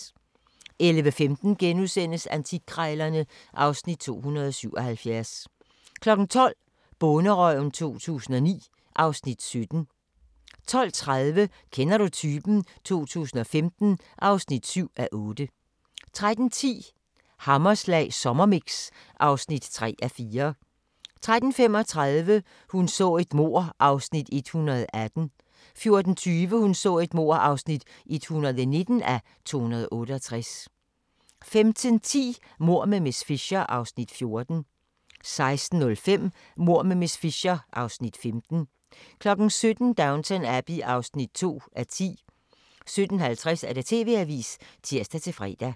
11:15: Antikkrejlerne (Afs. 277)* 12:00: Bonderøven 2009 (Afs. 17) 12:30: Kender du typen? 2015 (7:8) 13:10: Hammerslag sommermix (3:4) 13:35: Hun så et mord (118:268) 14:20: Hun så et mord (119:268) 15:10: Mord med miss Fisher (Afs. 14) 16:05: Mord med miss Fisher (Afs. 15) 17:00: Downton Abbey (2:10) 17:50: TV-avisen (tir-fre)